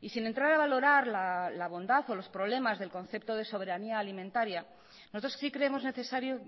y sin entrar a valorar la bondad o los problemas del concepto de soberanía alimentaria nosotros sí creemos necesario